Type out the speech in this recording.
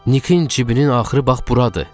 Nikin cibinin axırı bax buradır!